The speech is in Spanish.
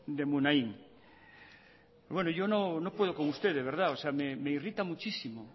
de munain yo no puedo con usted de verdad me irrita muchísimo